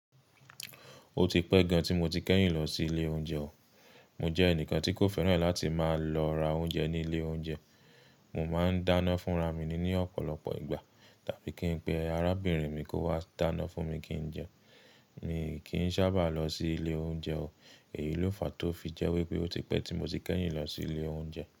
Ó ti pẹ́ gan tí mo ti kẹ́yìn lọ sí ilé oúnjẹ o. Mo jẹ́ ẹnìkan tí kò fẹ́ràn láti máa lọ ra oúnjẹ ní ilé oúnjẹ. Mo máa ń dáná fúnra mi ní ọ̀pọ̀lọpọ̀ ìgbà, tàbí kí n pe arábìnrin mi kó wá dáná fún mi kí n jẹ. Mi kì í sábà lọ sí ilé oúnjẹ o. Èyí ló fàá tó fi jẹ́ wípé ó ti pẹ́ tí mo ti kẹ́yìn lọ sí ilé oúnjẹ.